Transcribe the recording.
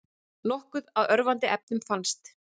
Nokkuð af örvandi efnum fannst